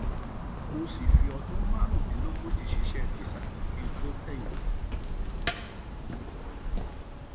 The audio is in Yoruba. mo sì fi ọdún márùndínlógójì ṣiṣẹ tísà kí n tóó fẹyìntì